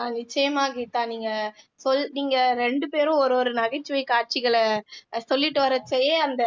ஆஹ் நிச்சயமா கீதா நீங்க சொல் நீங்க ரெண்டு பேரும் ஒரு ஒரு நகைச்சுவை காட்சிகளை சொல்லிட்டு வர்றப்பயே அந்த